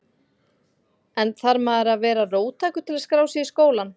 En þarf maður að vera róttækur til að skrá sig í skólann?